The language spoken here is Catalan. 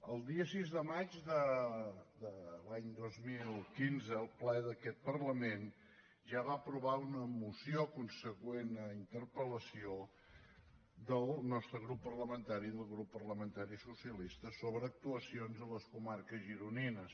el dia sis de maig de l’any dos mil quinze el ple d’aquest parlament ja va aprovar una moció consegüent a interpel·lació del nostre grup parlamentari del grup parlamentari socialista sobre actuacions en les comarques gironines